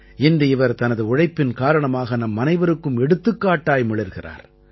இன்று இவர் தனது உழைப்பின் காரணமாக நம்மனைவருக்கும் எடுத்துக்காட்டாய் மிளிர்கிறார்